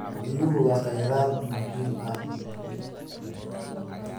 Biyuhu waa kheyraad muhiim ah.